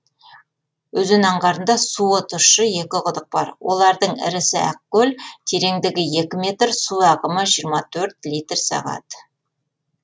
өзен аңғарында суы тұщы екі құдық бар олардың ірісі ақкөл тереңдігі екі метр су ағымы жиырма төрт литр сағат